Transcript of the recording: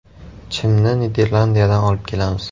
Chimni Niderlandiyadan olib kelamiz.